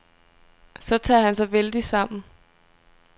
Så tager han sig vældigt sammen.